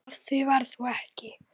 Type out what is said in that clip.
Af því varð þó ekki.